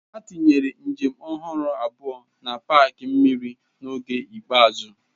Ha tinyere njem ọhụrụ abụọ na paaki mmiri n'oge ikpeazụ.